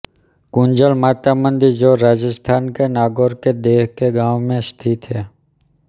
कुंजल माता मंदिर जो राजस्थान के नागौर के देह के गांव में स्थित है